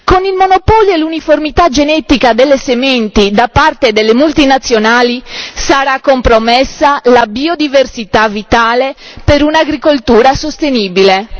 Con il monopolio e l'uniformità genetica delle sementi da parte delle multinazionali sarà compromessa la biodiversità vitale per un'agricoltura sostenibile.